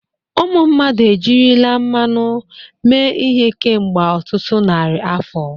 Ụmụ mmadụ ejirila mmanụ mee ihe kemgbe ọtụtụ narị afọ.